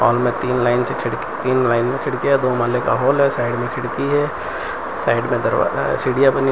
तीन लाइन से खिड़की तीन लाइन में खिड़कियां दो माले का हॉल है साइड में खिड़की है साइड में दरवाजा है सीढ़ियां बनी हुई --